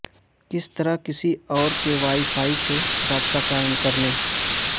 کس طرح کسی اور کے وائی فائی سے رابطہ قائم کرنے